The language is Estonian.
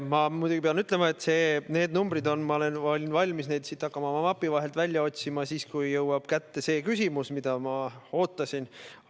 Ma muidugi pean ütlema, et neid numbreid olen ma valmis hakkama oma mapi vahelt välja otsima siis, kui jõuab kätte see küsimus, mida ma ootasin.